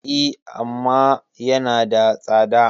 E, amma yanada tsada.